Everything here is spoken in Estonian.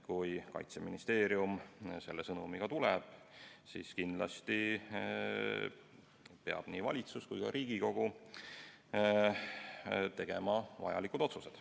Kui Kaitseministeerium selle sõnumiga lagedale tuleb, siis kindlasti peab nii valitsus kui ka Riigikogu tegema vajalikud otsused.